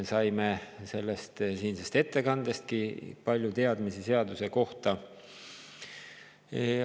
Saime siinsest ettekandestki palju teadmisi seaduse kohta.